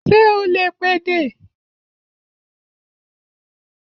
Ṣé o lè pèdè?